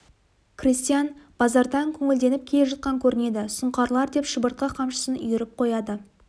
крестьян базардан көңілденіп келе жатқан көрінеді сұңқарлар деп шыбыртқы қамшысын үйіріп қояды